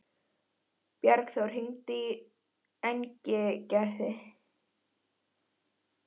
Bjargþór, hringdu í Engilgerði.